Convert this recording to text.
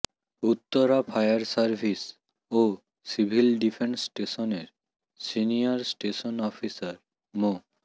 Uttara fire service ও civil defence স্টেশনের senior station officer মো